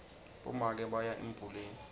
bomake baya embuleni